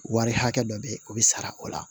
Wari hakɛ dɔ bɛ ye o bɛ sara o la